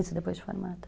Isso depois de formada.